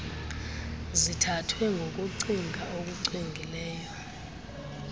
zithathwe ngokucinga okucwengileyo